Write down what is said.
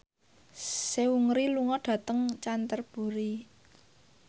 Seungri lunga dhateng Canterbury